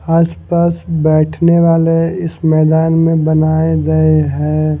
आसपास बैठने वाले इस मैदान में बनाये गए हैं।